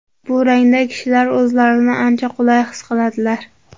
Bu rangda kishilar o‘zlarini ancha qulay his qiladilar.